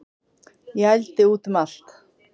Ég ældi út um allt